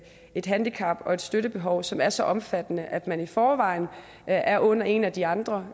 et handicap og et støttebehov som er så omfattende at man i forvejen er under en af de andre